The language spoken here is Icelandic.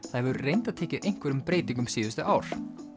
það hefur reyndar tekið einhverjum breytingum síðustu ár